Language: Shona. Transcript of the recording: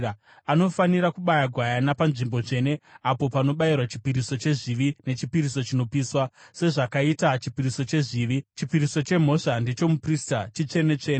Anofanira kubaya gwayana panzvimbo tsvene apo panobayirwa chipiriso chezvivi nechipiriso chinopiswa. Sezvakaita chipiriso chezvivi, chipiriso chemhosva ndechomuprista, chitsvene-tsvene.